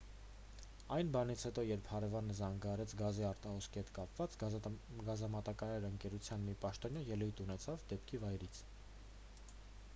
այն բանից հետո երբ հարևանը զանգահարեց գազի արտահոսքի հետ կապված գազամատակարար ընկերության մի պաշտոնյա ելույթ ունեցավ դեպքի վայրից